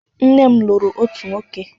Nne m lụrụ otu nwoke.